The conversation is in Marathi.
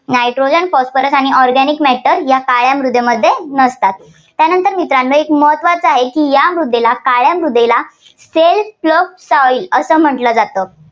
nitrogen phosphorus आणि ् organic matter या काळ्या मृदेमध्ये नसतात. त्यानंतर मित्रांनो एक महत्त्वाचं आहे, या मृदेला काळ्या मृदेला self plough soil असं म्हटलं जातं.